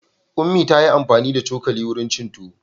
Ummi ta yi amfani da cokali wurin cin tuwo.